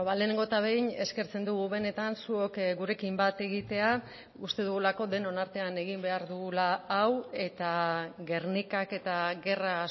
lehenengo eta behin eskertzen dugu benetan zuok gurekin bat egitea uste dugulako denon artean egin behar dugula hau eta gernikak eta gerra